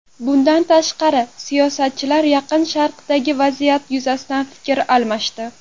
Bundan tashqari, siyosatchilar Yaqin Sharqdagi vaziyat yuzasidan fikr almashdi.